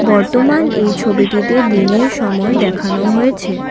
বর্তমান এই ছবিটিতে দিনের সময় দেখানো হয়েছে।